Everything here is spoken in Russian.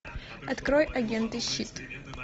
открой агенты щит